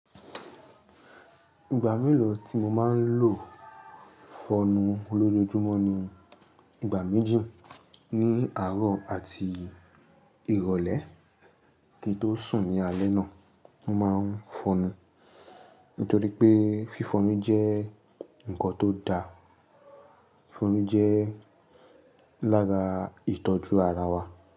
Ìgbà mélòó tí mo máa ń lo fọnu lójoojúmọ́ ni ìgbà méjì ní àárọ̀ àti ìrọ̀lẹ́ kí n tó sùn ní alẹ́ náà. Mo máa ń fọnu nítorí pé fífọnu jẹ́ nǹkan tó da. Fọnu jẹ́ lára ìtọ́jú ara wa.